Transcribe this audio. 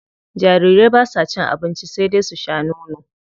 Jarirai basa cin abinci sai dai su sha nono.